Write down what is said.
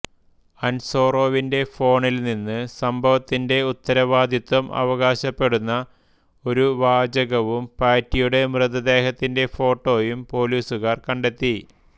അൻസോറോവിന്റെ ഫോണിൽനിന്ന് സംഭവത്തിന്റെ ഉത്തരവാദിത്തം അവകാശപ്പെടുന്ന ഒരു വാചകവും പാറ്റിയുടെ മൃതദേഹത്തിന്റെ ഫോട്ടോയും പോലീസുകാർ കണ്ടെത്തി